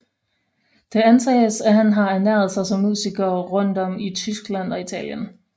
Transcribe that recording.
Det antages at han har ernæret sig som musiker rundt om i Tyskland og Italien